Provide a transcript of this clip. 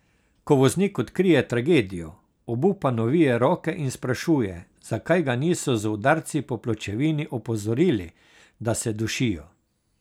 Ko voznik odkrije tragedijo, obupano vije roke in sprašuje, zakaj ga niso z udarci po pločevini opozorili, da se dušijo.